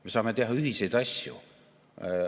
Me saame teha ühiseid asju.